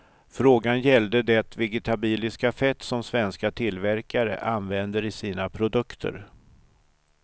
Frågan gällde det vegetabiliska fett som svenska tillverkare använder i sina produkter.